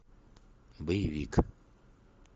боевик